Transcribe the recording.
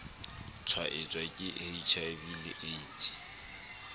tshwaetswa ke hiv le aids